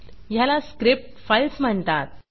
ह्याला script files म्हणतात